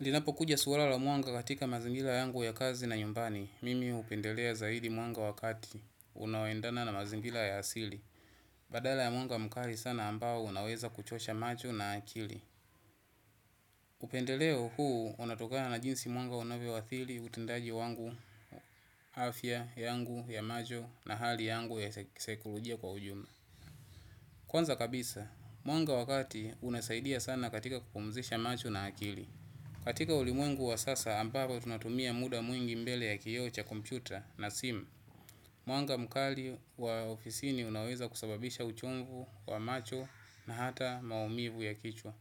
Linapokuja suala la mwanga katika mazingira yangu ya kazi na nyumbani, mimi hupendelea zaidi mwanga wa kati unaoendana na mazingira ya asili. Badala ya mwanga mkali sana ambao unaweza kuchosha macho na akili. Upendeleo huu unatokaa na jinsi mwanga unavyo athiri utendaji wangu afya yangu ya macho na hali yangu ya lisaikolojia kwa ujumla. Kwanza kabisa, mwanga wa kati unasaidia sana katika kupumzisha macho na akili. Katika ulimuengu wa sasa ambapo tunatumia muda mwingi mbele ya kioo cha kompyuta na simu. Mwanga mkali wa ofisini unaweza kusababisha uchovu wa macho na hata maumivu ya kichwa.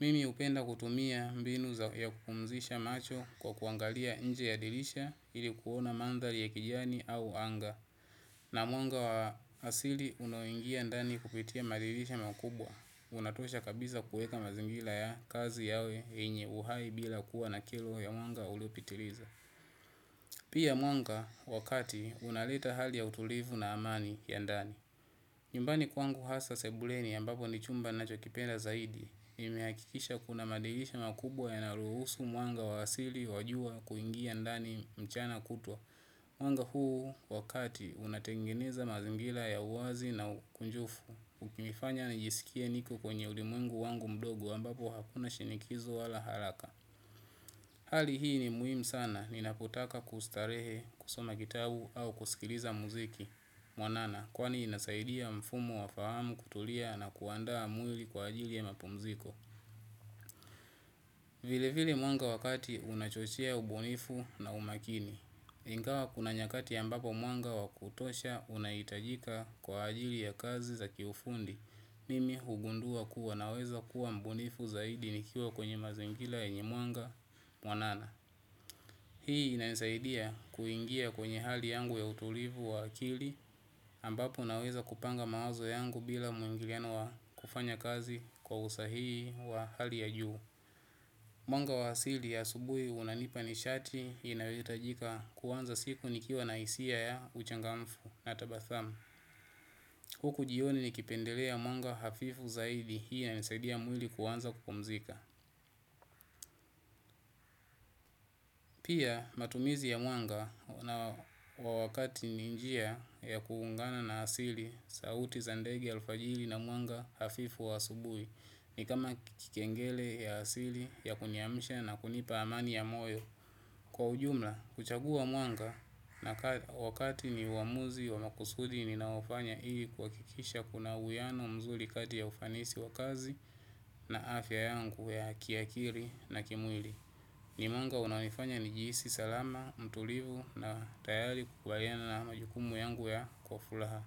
Mimi hupenda kutumia mbinu zao ya kukuanzisha macho kwa kuangalia nje ya dirisha ilikuona mandhari ya kijani au anga. Na mwanga wa asili unaoingia ndani kupitia madirisha makubwa unatosha kabisa kuweka mazingira ya kazi yawe yenye uhai bila kuwa na kero ya mwanga uliopitiliza. Pia mwanga wa kati unaleta hali ya utulivu na amani ya ndani. Nyumbani kwangu hasa sebuleni ambapo ni chumba nachokipenda zaidi nimehakikisha kuna madirisha makubwa yanaruhusu mwanga wa asili wa jua kuingia ndani mchana kutwa. Mwanga huu wa kati unatengeneza mazingira ya uwazi na ukunjufu ukinifanya nijisikie niko kwenye ulimwengu wangu mdogo ambapo hakuna shinikizo wala haraka. Hali hii ni muhimu sana, ninapoutaka kustarehe, kusoma kitabu au kusikiliza muziki. Mwanana, kwani inasaidia mfumo wa fahamu kutulia na kuandaa mwili kwa ajili ya mapumziko. Vile vile mwanga wakati unachochea ubunifu na umakini. Ingawa kuna nyakati ambapo mwanga wakutosha unahitajika kwa ajili ya kazi za kiufundi mimi hugundua kuwa naweza kuwa mbunifu zaidi nikiwa kwenye mazingira yenye mwanga mwanana. Hii inanisaidia kuingia kwenye hali yangu ya utulivu wa akili ambapo naweza kupanga mawazo yangu bila mwingiliano wa kufanya kazi kwa usahihi wa hali ya juu. Mwanga wa asili ya asubuhi unanipa nishati inayohitajika kuanza siku nikiwa na hisia ya uchangamfu na tabasamu. Huku jioni nikipendelea mwanga hafifu zaidi hii inanisaidia mwili kuanza kupumzika. Pia matumizi ya mwanga na wawa kati ni njia ya kuungana na asili sauti za ndege alfajiri na mwanga hafifu wa asili. Ni kama kipengele ya asili ya kuniamisha na kunipa amani ya moyo. Kwa ujumla, kuchagua mwanga na wakati ni uamuzi wa makusudi ninaofanya ili kuhakikisha kuna uwiano mzuri kati ya ufanisi wa kazi na afya yangu ya kiakili na kimwili. Ni mwanga unanifanya nijihisi, salama, mtulivu na tayari kukubaliana na majukumu yangu ya kwa furaha.